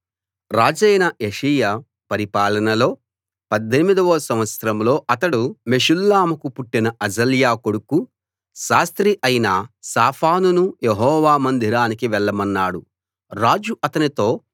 రాజైన యోషీయా పరిపాలనలో 18 వ సంవత్సరంలో అతడు మెషుల్లాముకు పుట్టిన అజల్యా కొడుకూ శాస్త్రి అయిన షాఫానును యెహోవా మందిరానికి వెళ్ళమన్నాడు రాజు అతనితో